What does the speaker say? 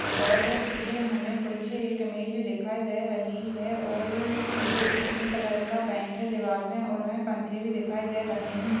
और पीछे हमे कुछ एक इमेज दिखाई दे रही है और अ-म- ये पिंक कलर का पेंट है दीवार मे और हमें पंखे भी दिखाई दे रहे है।